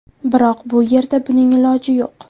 Biroq bu yerda buning iloji yo‘q.